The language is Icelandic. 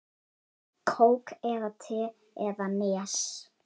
Kók eða te eða Nes?